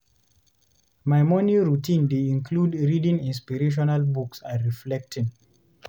My morning routine dey include reading inspirational books and reflecting.